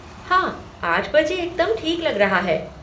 हाँ आठ बजे एकदम ठीक लग रहा है।